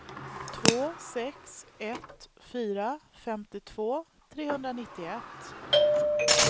två sex ett fyra femtiotvå trehundranittioett